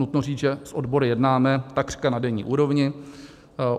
Nutno říct, že s odbory jednáme takřka na denní úrovni.